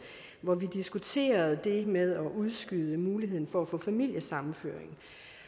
hvor vi diskuterede det med at udskyde muligheden for at få familiesammenføring